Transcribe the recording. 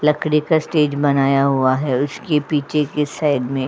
लकड़ी का स्टेज बनाया हुआ है इसके पीछे के साइड मे।